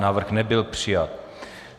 Návrh nebyl přijat.